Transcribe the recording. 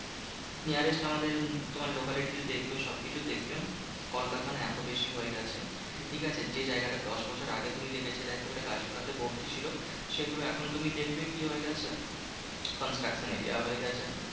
Nearest আমাদের তোমার locality তে দেখবে সবকিছু দেখবে, কলকারখানা এত বেশি হয়ে গেছে, ঠিকাছে? যে জায়গাটা দশবছর আগে তুমি দেখেছিলো একেবারে গাছপালাতে ভর্তি ছিল। সেগুলো এখন তুমি দেখবে কি হয়ে গেছে? construction area হয়ে গেছে।